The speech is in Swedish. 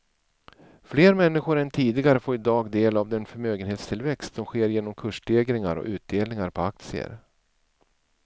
Fler människor än tidigare får i dag del av den förmögenhetstillväxt som sker genom kursstegringar och utdelningar på aktier.